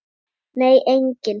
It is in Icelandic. Nei engin.